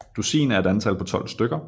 Dusin er et antal på 12 stykker